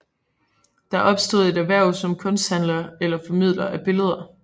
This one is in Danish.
Der opstod et erhverv som kunsthandler eller formidler af billeder